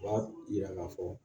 U b'a yira k'a fɔ